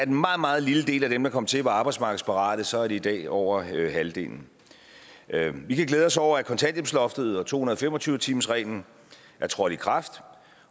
en meget meget lille del af dem der kom til var arbejdsmarkedsparate så er det i dag over halvdelen vi kan glæde os over at kontanthjælpsloftet og to hundrede og fem og tyve timersreglen er trådt i kraft